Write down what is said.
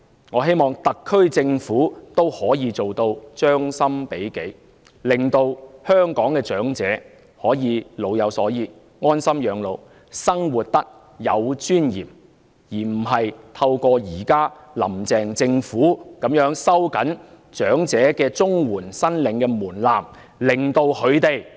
我希望特區政府亦可以做到將心比己，令香港的長者可以老有所依，安心養老，生活得有尊嚴，而不是如現時"林鄭"政府般，透過收緊申領長者綜援的門檻，令他們受到極大的侮辱。